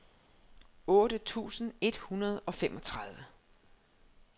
otte tusind et hundrede og femogtredive